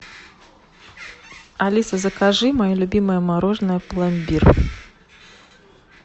алиса закажи мое любимое мороженое пломбир